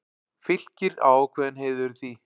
Fylkir á ákveðinn heiður í því.